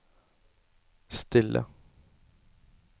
stille